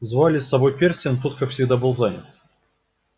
звали с собой перси но тот как всегда был занят